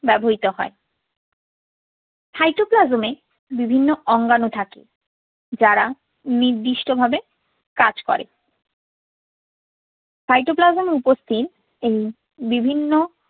ব্যবহৃত হয়। cytoplasm এ বিভিন্ন অঙ্গাণু থাকে, যারা নির্দিষ্ট ভাবে কাজ করে। cytoplasm এ উপস্থিত এ~ এই বিভিন্ন